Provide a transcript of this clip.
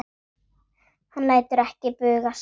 Hann lætur ekki bugast.